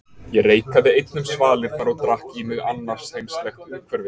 Ég reikaði einn um svalirnar og drakk í mig annarsheimslegt umhverfið.